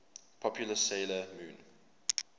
popular 'sailor moon